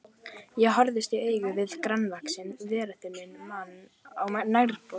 Ég horfist í augu við grannvaxinn, varaþunnan mann á nærbol.